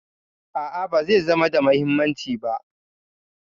A'a, ba zai zama da muhimmanci ba